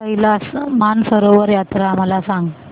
कैलास मानसरोवर यात्रा मला सांग